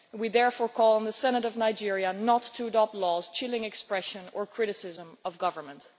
We therefore call on the Senate of Nigeria not to adopt laws chilling expression or criticism of the government.